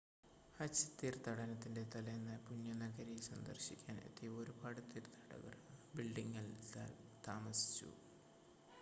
ഹജ്ജ് തീർത്ഥാടനത്തിൻ്റെ തലേന്ന് പുണ്യനഗരി സന്ദർശിക്കാൻ എത്തിയ ഒരുപാട് തീർത്ഥാടകർ ആ ബിൽഡിംങിൽ താമസിച്ചു